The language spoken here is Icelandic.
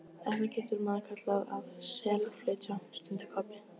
Þetta getur maður kallað að SELflytja, stundi Kobbi.